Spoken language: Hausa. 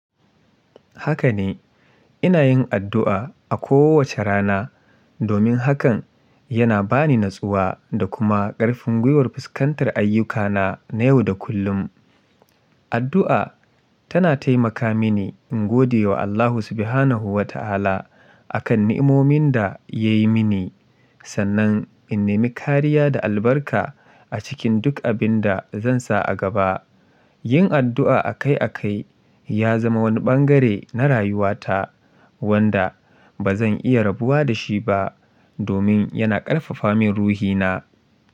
Haka ne, ina yin addu'a a kowace rana domin hakan yana ba ni natsuwa da kuma ƙarfin gwiwar fuskantar ayyukana na yau da kullum. Addu'a tana taimaka mini in gode wa Allah Subhanahu wa Ta'ala akan nimomin da ya yi mini, sannan in nemi kariya da albarka a cikin duk abin da zan sa a gaba. Yin addu'a akai-akai ya zama wani bangare na rayuwata wanda ba zan iya rabuwa da shi ba domin yana ƙarfafa min ruhina.